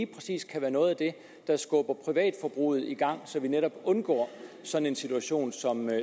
præcis kan være noget af det der skubber privatforbruget i gang så vi netop undgår sådan en situation